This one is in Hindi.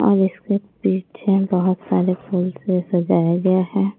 और इसके पीछे बहुत सारे फूल से सजाया गया है।